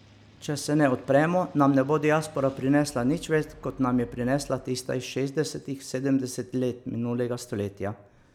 Če se ne odpremo, nam ne bo diaspora prinesla nič več, kot nam je prinesla tista iz šestdesetih, sedemdesetih let minulega stoletja.